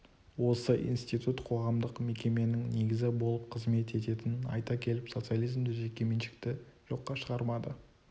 осы институт қоғамдық мекеменің негізі болып қызмет ететінін айта келіп социализмде жеке меншікті жоққа шығармады